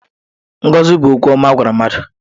Ngọzi bụ okwu ọma a gwara mmadụ.